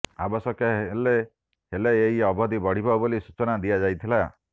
ଆବଶ୍ୟକ ହେଲେ ହେଲେ ଏହି ଅବଧି ବଢିବ ବୋଲି ସୂଚନା ଦିଆଯାଇଥିଲା